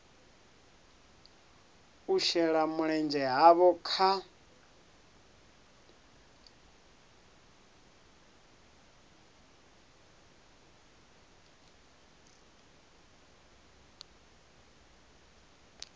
u shela mulenzhe havho kha